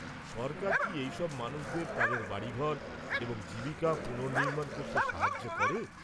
সরকার কি এই সব মানুষদের তাঁদের বাড়িঘর এবং জীবিকা পুনর্নির্মাণ করতে সাহায্য করে?